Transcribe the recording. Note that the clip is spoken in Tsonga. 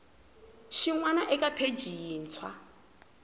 xin wana eka pheji yintshwa